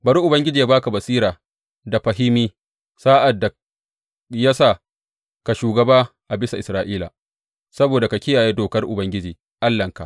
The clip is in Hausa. Bari Ubangiji ya ba ka basira da fahimi sa’ad da ya sa ka shugaba a bisa Isra’ila, saboda ka kiyaye dokar Ubangiji Allahnka.